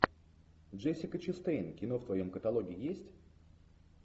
джессика честейн кино в твоем каталоге есть